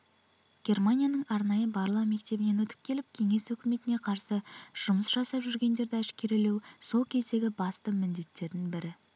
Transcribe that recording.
германияның арнайы барлау мектебінен өтіп келіп кеңес өкіметіне қарсы жұмыс жасап жүргендерді әшкерелеу сол кездегі басты міндеттердің бірі